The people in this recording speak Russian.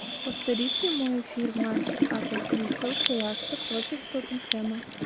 повтори прямой эфир матча апл кристал пэласа против тоттенхэма